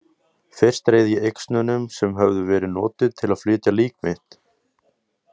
Fyrst reið ég yxnunum sem höfðu verið notuð til að flytja lík mitt.